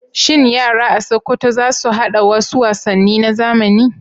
Shin yara a Sokoto za su haɗa wasu wasanni na zamani?